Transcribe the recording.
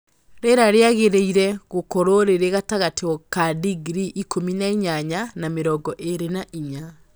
Rĩera rĩagĩrĩire gũkorũo rĩrĩ gatagatĩ ka digrii ikũmi na inyanya na mĩrongo ĩrĩ na inya